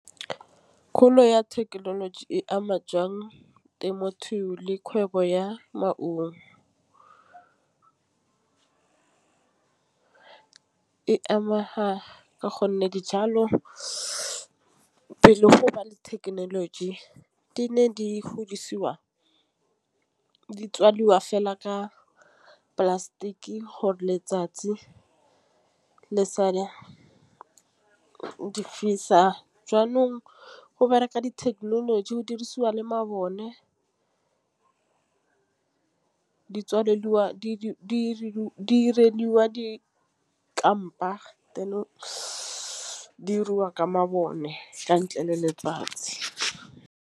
Kgolo ya thekenoloji e ama jwang temothuo le kgwebo ya maungo. E ameha ka gonne dijalo be le go ba le thekenoloji di ne di godisiwa di tswalwa fela ka plastic gore letsatsi le sa di difisa jaanong go bereka dithekenoloji go dirisiwa le mabone tswelediwa diriwa dikampa tanning diriwa ka mabone ka ntle le letsatsi.